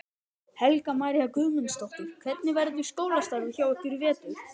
Helga María Guðmundsdóttir: Hvernig verður skólastarfið hjá ykkur í vetur?